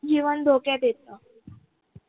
जीवन धोक्यात येते